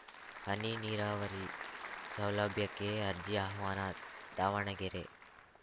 ಹನಿ ನೀರಾವರಿ ಸೌಲಭ್ಯಕ್ಕೆ ಅರ್ಜಿ ಆಹ್ವಾನ ದಾವಣಗೆರೆ